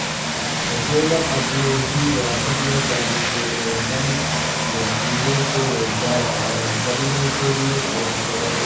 حکومت اپنی ہی ریاست میں تارکین وطن مزدوروں کو روزگار فراہم کرنے کے لئے کوشاں